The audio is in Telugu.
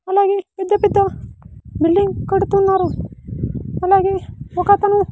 అలాగే పెద్ద పెద్ద బిల్డింగ్ కడుతున్నారు అలాగే ఒకతను.